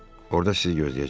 Orda sizi gözləyəcəm?